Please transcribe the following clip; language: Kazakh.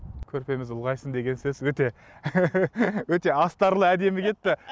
көрпеміз ұлғайсын деген сөз өте өте астарлы әдемі кетті